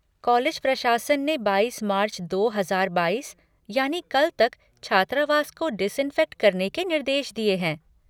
College प्रशासन ने बाईस मार्च, दो हजार बाईस, यानी कल तक छात्रावास को डिसिंफेक्ट करने के निर्देश दिये हैं।